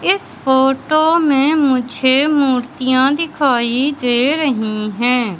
इस फोटो में मुझे मूर्तियां दिखाई दे रही हैं।